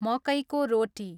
मकैको रोटी